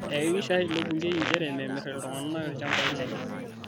Eihakikisha ilo bungei nchere memirr ltung'ana lchambai kenye